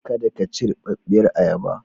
Kada ka ci rubarbiyar ayaba.